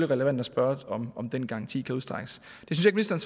relevant at spørge om den garanti kan udstrækkes det synes jeg